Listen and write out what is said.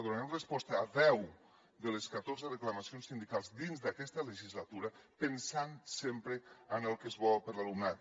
donarem resposta a deu de les catorze reclamacions sindicals dins d’aquesta legislatura pensant sempre en el que és bo per a l’alumnat